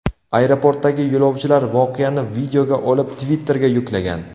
Aeroportdagi yo‘lovchilar voqeani videoga olib, Twitter’ga yuklagan.